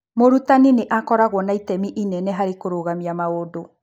Mũrutani nĩ akoragwo na itemi inene harĩ kũrũgamia maũndũ.